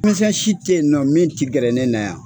Misɛn si te ye nɔ min ti gɛrɛ ne na yan.